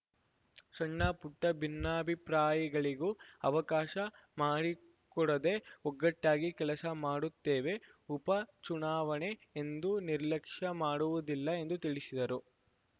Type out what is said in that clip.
ಸಣ್ಣಪುಟ್ಟಭಿನ್ನಾಭಿಪ್ರಾಯಗಳಿಗೂ ಅವಕಾಶ ಮಾಡಿಕೊಡದೆ ಒಗ್ಗಟ್ಟಾಗಿ ಕೆಲಸ ಮಾಡುತ್ತೇವೆ ಉಪ ಚುನಾವಣೆ ಎಂದು ನಿರ್ಲಕ್ಷ್ಯ ಮಾಡುವುದಿಲ್ಲ ಎಂದು ತಿಳಿಸಿದರು